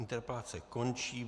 Interpelace končí.